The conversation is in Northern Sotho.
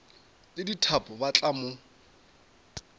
le dithapo ba tla mo